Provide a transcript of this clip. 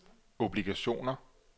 obligationer